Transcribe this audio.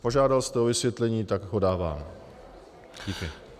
Požádal jste o vysvětlení, tak ho podávám.